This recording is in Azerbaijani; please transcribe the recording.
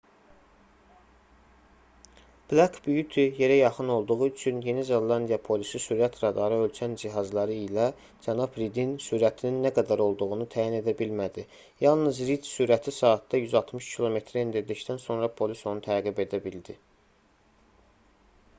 black beauty yerə yaxın olduğu üçün yeni zelandiya polisi sürət radarı ölçən cihazları ilə cənab ridin sürətinin nə qədər olduğunu təyin edə bilmədi yalnız rid sürəti saatda 160 km-ə endirdikdən sonra polis onu təqib edə bildi